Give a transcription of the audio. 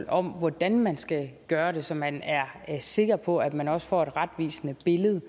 om hvordan man skal gøre det så man er sikker på at man også får et retvisende billede